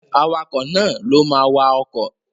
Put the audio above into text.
Awakọ̀ náà ló ma wa ọkọ̀